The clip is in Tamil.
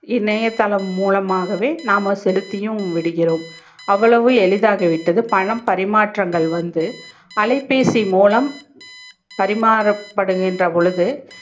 இணையதளம் மூலமாகவே நாம செலுத்தியும் விடுகிறோம் அவ்வளவு எளிதாகி விட்டது பணம் மரிமாற்றங்கள் வந்து அலைபேசி மூலம் பரிமாற படுகின்ற பொழுது